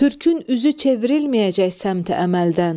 Türkün üzü çevrilməyəcək səmt əməldən.